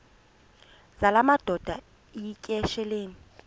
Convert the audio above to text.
zala madoda yityesheleni